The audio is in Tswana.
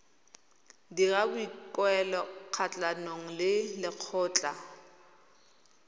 dira boikuelo kgatlhanong le lekgotlha